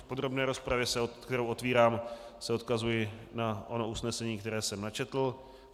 V podrobné rozpravě, kterou otevírám, se odkazuji na ono usnesení, které jsem načetl.